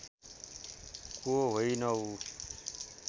को होइनौ